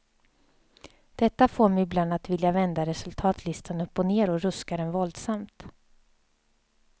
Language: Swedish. Detta får mig ibland att vilja vända resultatlistan upp och ner och ruska den våldsamt.